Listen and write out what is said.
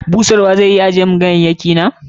Busharwa zai iya ajiye mun ganyayyaki na?